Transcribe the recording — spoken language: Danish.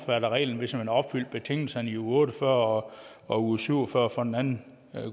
af reglen hvis man har opfyldt betingelserne i uge otte og fyrre og uge syv og fyrre for en anden